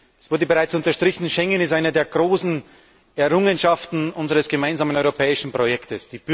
Es wurde bereits unterstrichen Schengen ist eine der großen Errungenschaften unseres gemeinsamen europäischen Projekts.